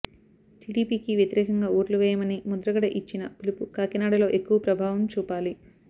టిడిపికి వ్యతిరేకంగా ఓట్లు వేయమని ముద్రగడ ఇచ్చిన పిలుపు కాకినాడలో ఎక్కువ ప్రభావం చూపాలి